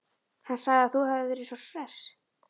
Hann sagði að þú hefðir verið svo hress.